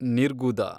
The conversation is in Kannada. ನಿರ್ಗುದ